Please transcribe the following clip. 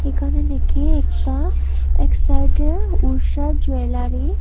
এখানে দেখি একটা এক সাইডে ঊষা জুয়েলারি ।